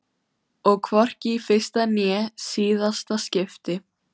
Og hvorki í fyrsta né síðasta skipti.